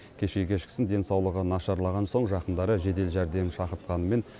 кеше кешкісін денсаулығы нашарлаған соң жақындары жедел жәрдем шақыртқанымен